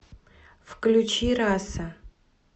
включи раса